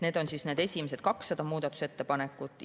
Need on esimesed 200 muudatusettepanekut.